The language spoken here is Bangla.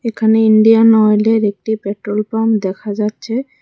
এখানে ইন্ডিয়ান অয়েলের একটি পেট্রোল পাম্প দেখা যাচ্ছে।